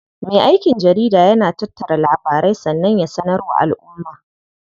Me aikin jarida yana tattara labarai sannan ya sanar wa alʼumma.